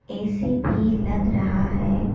AC भी लग रहा है।